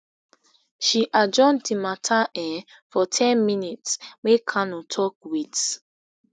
she adjourn di matter um for ten minutes make kanu tok wit